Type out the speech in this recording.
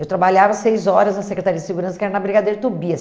Eu trabalhava seis horas na Secretaria de Segurança, que era na Brigadeiro Tobias.